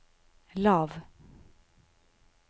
lav